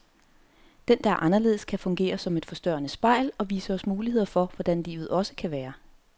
Den, der er anderledes, kan fungere som et forstørrende spejl, og vise os muligheder for hvordan livet også kan være.